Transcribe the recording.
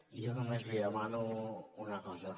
jo només li demano una cosa